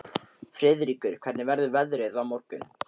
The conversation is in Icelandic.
Friðríkur, hvernig verður veðrið á morgun?